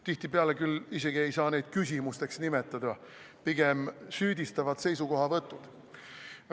Tihtipeale ei saa neid küll isegi küsimusteks nimetada, pigem on need süüdistavad seisukohavõtud.